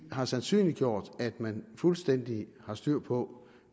har sandsynliggjort at man fuldstændig har styr på